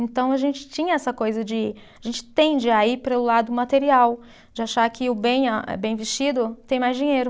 Então, a gente tinha essa coisa de, a gente tende a ir para o lado material, de achar que o bem ah, bem vestido tem mais dinheiro.